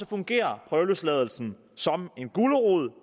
fungerer prøveløsladelsen som en gulerod